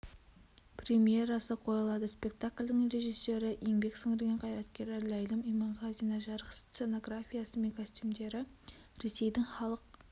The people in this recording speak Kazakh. премьерасы қойылады спектакльдің режиссеры еңбек сіңірген қайраткері ләйлім иманғазина жарық сценографиясы мен костюмдері ресейдің халық